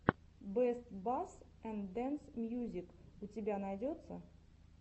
бэст басс энд дэнс мьюзик у тебя найдется